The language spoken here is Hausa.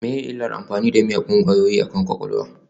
Menene illar amfani da miyagun ƙwayoyi akan kwakwalwa?